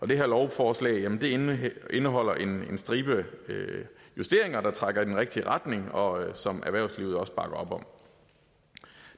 det her lovforslag indeholder en stribe justeringer der trækker i den rigtige retning og som erhvervslivet også bakker op om